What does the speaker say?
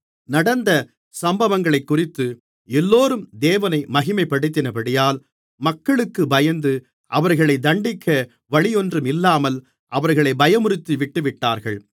நடந்த சம்பவங்களைக்குறித்து எல்லோரும் தேவனை மகிமைப்படுத்தினபடியால் மக்களுக்குப் பயந்து அவர்களைத் தண்டிக்க வழியொன்றும் இல்லாமல் அவர்களைப் பயமுறுத்தி விட்டுவிட்டார்கள்